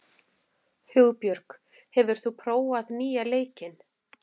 Hugbjörg, hefur þú prófað nýja leikinn?